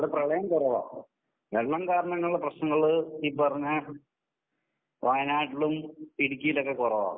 അവടെ പ്രളയം കുറവാ. വെള്ളം കാരണം കൊണ്ടുള്ള പ്രശ്നങ്ങള് ഈ പറഞ്ഞ വയനാട്ടിലും ഇടുക്കിലോക്കെ കൊറവാ.